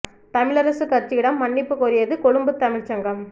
தமிழரசுக் கட்சியிடம் மன்னிப்புக் கோரியது கொழும்புத் தமிழ்ச் சங்கம்